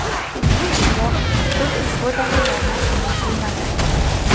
Biroq sud ushbu dalillarni qabul qilmadi.